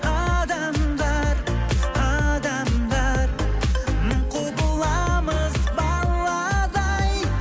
адамдар адамдар мың құбыламыз баладай